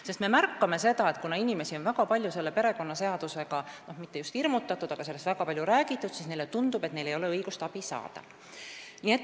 Sest me oleme märganud seda, et kuna inimesi on väga palju selle perekonnaseadusega hirmutatud – no mitte just hirmutatud, aga sellest on väga palju räägitud –, siis neile tundub, et neil ei ole õigust abi saada.